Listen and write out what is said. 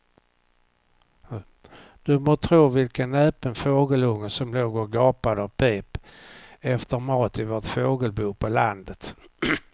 Du må tro vilken näpen fågelunge som låg och gapade och pep efter mat i vårt fågelbo på landet.